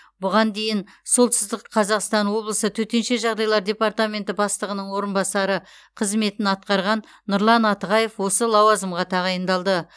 бұған дейін солтүстік қазақстан облысы төтенше жағдайлар департаменті бастығының орынбасары қызметін атқарған нұрлан атығаев осы лауазымға тағайындалды